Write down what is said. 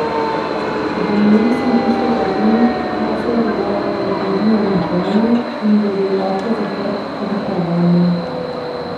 V njem sem pisal o tem, kaj se je dogajalo z družino med vojno, in da je bil oče zaprt tudi po vojni.